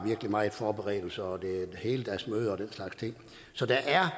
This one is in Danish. meget forberedelse og at det er heldagsmøder og den slags ting så der er